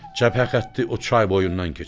Cəbhə xətti o çay boyundan keçir.